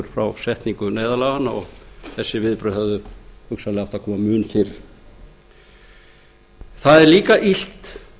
frá setningu neyðarlaganna og þessi viðbrögð hefðu hugsanlega átt að koma undir það er líka illt